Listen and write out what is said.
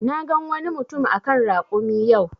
Na gan wani mutum a kan rakumi yau.